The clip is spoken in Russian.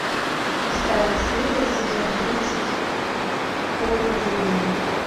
шестая серия сезон тридцать в поле зрения